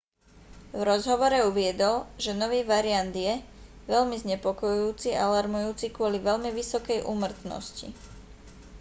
v rozhovore uviedol že nový variant je veľmi znepokojujúci a alarmujúci kvôli veľmi vysokej úmrtnosti